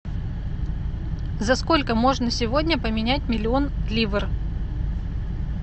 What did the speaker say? за сколько можно сегодня поменять миллион ливр